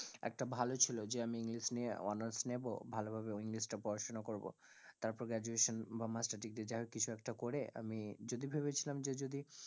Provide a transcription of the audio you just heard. একটা ভালো ছিল যে আমি english নিয়ে honours নেব ভালো ভাবে english টা পড়াশোনা করবো, তারপর graduation বা master degree যাই হোক কিছু একটা করে আমি যদি ভেবেছিলাম যে যদি